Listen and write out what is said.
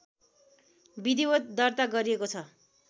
विधिवत् दर्ता गरिएको छ